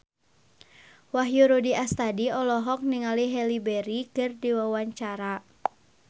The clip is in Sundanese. Wahyu Rudi Astadi olohok ningali Halle Berry keur diwawancara